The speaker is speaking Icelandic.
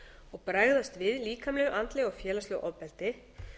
og bregðast við líkamlegu andlegu og félagslegu ofbeldi